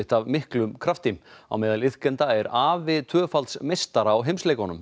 af miklum krafti á meðal iðkenda er afi tvöfalds meistara á heimsleikunum